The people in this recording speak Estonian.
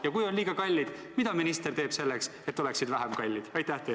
Ja kui on liiga kallid, siis mida minister teeb selleks, et oleksid vähem kallid?